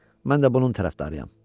Mən də bunun tərəfdarıyam.